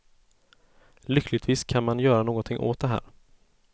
Lyckligtvis kan man göra någonting åt det här.